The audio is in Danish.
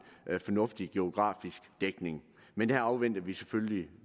fornuftig geografisk dækning men her afventer vi selvfølgelig